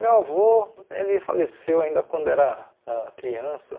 Meu avô ele faleceu ainda quando eu era ãh criança.